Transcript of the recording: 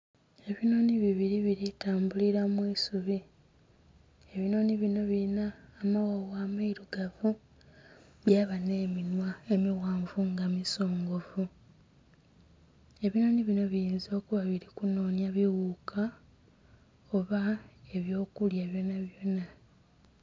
Ebinhonhi bibiri biritambulira mwiisubi. Ebinhonhi bino birina amawawa amairugavu byaba n'eminhwa emighanvu nga misongovu, ebinhonhi bino biyinza okuba nga biri kunhonya biwuka oba ebyokulya byonabyona.